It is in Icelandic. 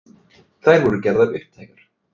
Þær voru gerðar upptækar